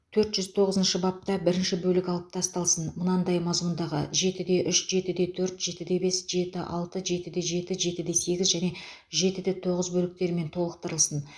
төрт жүз тоғызыншы бапта бірінші бөлік алып тасталсын мынадай мазмұндағы жетіде үш жетіде төрт жетіде бес жеті алты жетіде жетіде сегіз және жетіде тоғыз бөліктермен толықтырылсын